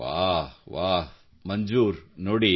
ವಾಹ್ ವಾಹ್ ಮಂಜೂರ್ ನೋಡಿ